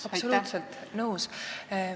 Absoluutselt nõus.